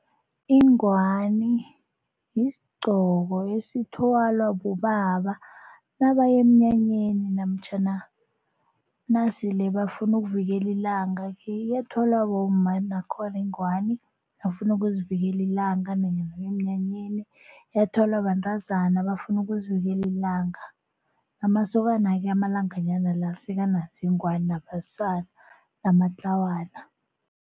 Ingwani yisigqoko esithwalwa bobaba nabaya emnyanyeni namtjhana nasele bafuna ukuvikela ilanga, iyathwalwa bomma nakhona ingwani bafuna ukuzivikela ilanga, yathwalwa bantazana bafuna ukuzivikela ilanga, amasokana-ke amalanganyana la sekanazo iingwani, nabasana namatlawana.